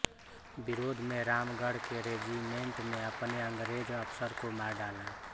विरोध में रामगढ़ के रेजिमेंट ने अपने अंगरेज अफसर को मार डाला